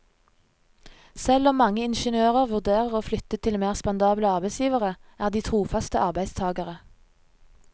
Selv om mange ingeniører vurderer å flytte til mer spandable arbeidsgivere, er de trofaste arbeidstagere.